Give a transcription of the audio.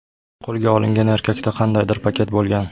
Qo‘lga olingan erkakda qandaydir paket bo‘lgan.